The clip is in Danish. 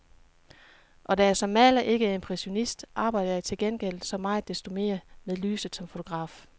Og da jeg som maler ikke er impressionist, arbejder jeg til gengæld så meget desto mere med lyset som fotograf.